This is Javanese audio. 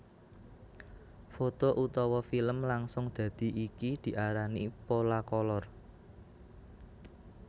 Foto utawa filem langsung dadi iki diarani Polacolor